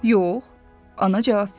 Yox, ana cavab verdi.